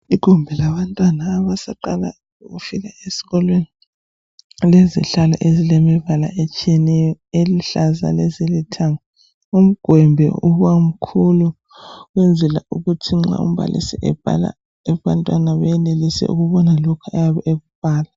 Igumbi labantwana abasaqala ukufika esikolweni lilezihlalo ezilemibala etshiyeneyo, eluhlaza lezilithanga. Umgwembe ubamkhulu ukwenzela kuthi nxa umbalisi ebhala abantwana benelise ukubona lokhu ayabe ekubhala.